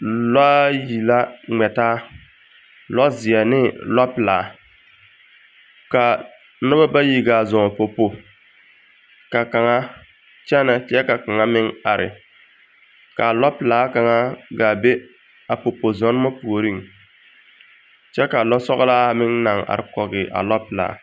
Lɔa yi la ŋmɛ taa, lɛzeɛ ne lɔpelaa. Ka noba bayi gaa zɔŋ popo ka kaŋa kyɛnɛ kyɛ ka kaŋa meŋ are, kaa lɛpelaa kaŋa gaa be a popo zɔnema puoriŋ kyɛ ka lɔsɔgelaa meŋ naŋ are kɔge a lɔpelaa.